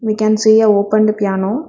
We can see a opened piano.